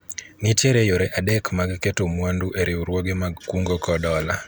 nitiere yore adek mag keto mwandu e riwruoge mag kungo kod hola